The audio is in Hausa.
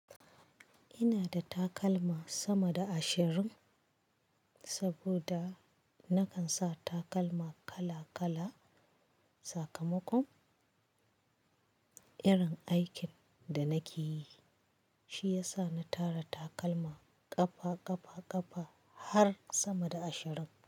Ina da takalma sama da ashirin saboda nakan sa takalma kala-kala. Sakamakon irin aikin da nake yi, shi ya sa na tara takalma ƙafa-ƙafa-ƙafa har sama da ashirin.